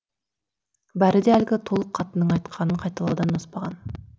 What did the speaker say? бәрі де әлгі толық қатынның айтқанын қайталаудан аспаған